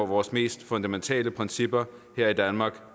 vores mest fundamentale principper her i danmark